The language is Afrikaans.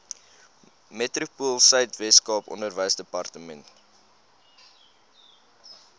metropoolsuid weskaap onderwysdepartement